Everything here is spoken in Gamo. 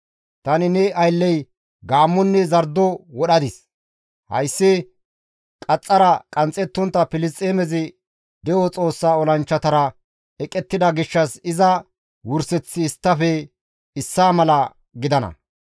Tani ne aylley gaammonne zardo wodhadis; hayssi qaxxara qanxxetontta Filisxeemezi de7o Xoossa olanchchatara eqettida gishshas iza wurseththi isttafe issaa mala gidana.